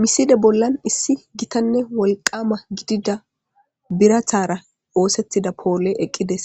misile bollan issi gitanne wolqama gidida biratara oosettida poole eqqides